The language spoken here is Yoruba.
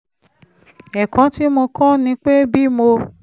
ẹ̀kọ́ tí mo kọ́ ni pé bí mo